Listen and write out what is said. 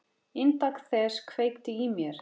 Inntak þess kveikti í mér.